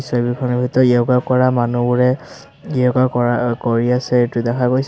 ছবিখনৰ ভিতৰত য়োগা কৰা মানুহবোৰে য়োগা কৰা-কৰি আছে এইটো দেখা গৈছে।